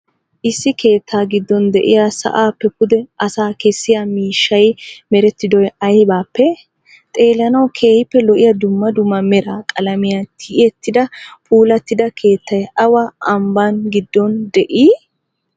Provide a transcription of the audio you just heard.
Issi keettaa giddon de'iya sa'appe pude asaa kessiyaa miishshay merettidoy aybappee? Xeellanawu keehippe lo'iya dumma dumma mera qalamiya tiyetidda puulatida keettay awa ambbaa giddon de'ii?